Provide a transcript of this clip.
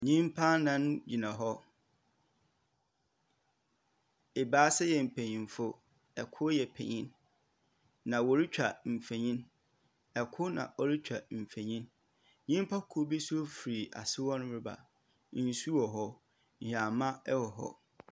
Nyimpa anan gyina hɔ. Ebaasa yɛ mpenyinfo, kor yɛ penyin. Na wɔretwa mfoyin. Kor na ɔretwa mfonyin. Nyimpa kor bi nso fir ase hɔ no reba. Nsu wɔ hɔ. Hyɛnba wɔ hɔ.